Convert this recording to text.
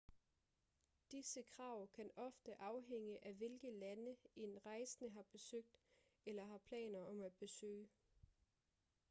disse krav kan ofte afhænge af hvilke lande en rejsende har besøgt eller har planer om at besøge